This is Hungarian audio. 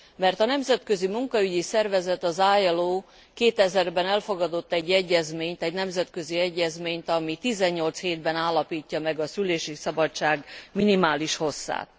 mert a nemzetközi munkaügyi szervezet, az ILO 2000 ben elfogadott egy egyezményt, egy nemzetközi egyezményt, ami 18 hétben állapítja meg a szülési szabadság minimális hosszát.